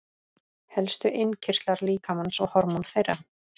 Helstu innkirtlar líkamans og hormón þeirra.